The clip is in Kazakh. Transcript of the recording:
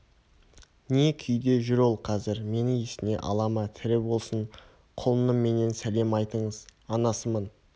не күйде жүр ол қазір мені есіне ала ма тірі болсын құлыным менен сәлем айтыңыз анасымын